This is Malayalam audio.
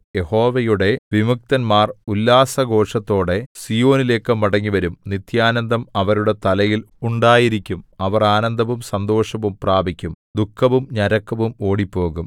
യഹോവയുടെ വിമുക്തന്മാർ ഉല്ലാസഘോഷത്തോടെ സീയോനിലേക്കു മടങ്ങിവരും നിത്യാനന്ദം അവരുടെ തലയിൽ ഉണ്ടായിരിക്കും അവർ ആനന്ദവും സന്തോഷവും പ്രാപിക്കും ദുഃഖവും ഞരക്കവും ഓടിപ്പോകും